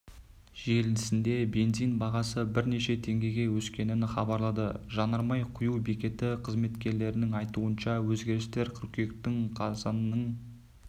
желісінде бензин бағасы бірнеше теңгеге өскенін хабарлады жанармай құю бекеті қызметкерлерінің айтуынша өзгерістер қыркүйектің қазанның